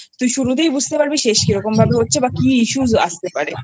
তুই শুরুতেই বুঝতে পারবি শেষ কিরকম ভাবে হচ্ছে বা কি